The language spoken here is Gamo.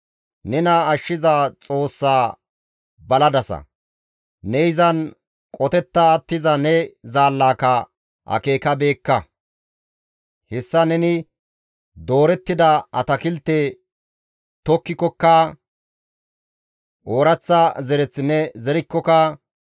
Nena ashshiza Xoossaa baladasa; ne izan qotetta attiza ne zaallaka akeekabeekka; hessa neni doorettida atakilte tokkikokka, ooraththa zereth ne zerikkoka,